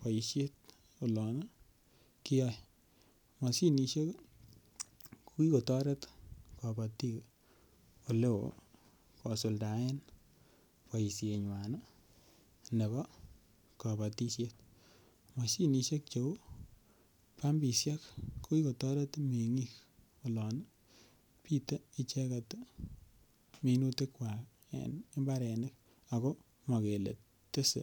boishet olon kiyoe. Moshinishek ii ko kikotoret kobotik ole oo kosuldaen boishenywan nebo kobotishet Moshinishek che uu pumpishek ko kikotoret mengiik olon pitee icheget minutikwak en mbarenik oo mokele tese